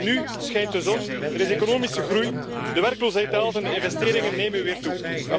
Want nu schijnt de zon. Er is economische groei, de werkloosheid daalt en de investeringen nemen weer toe.